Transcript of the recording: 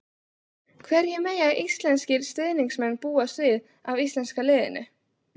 Hverju mega íslenskir stuðningsmenn búast við af íslenska liðinu?